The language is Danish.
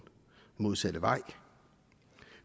modsatte vej